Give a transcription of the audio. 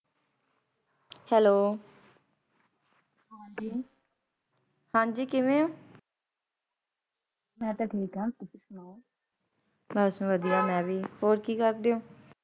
Hello, ਹਾਂਜੀ, ਹਾਂਜੀ ਕਿਵੇਂ ਹੋ? ਮੈਂ ਤਾਹਂ ਠੀਕ, ਹਾਂ ਤੁਸੀ ਸੁਣਾਓ। ਬਸ ਵਦੀਆਂ ਮੈਂ ਵੀ । ਹੋਰ ਕਿ ਕਰਦੇ ਓ?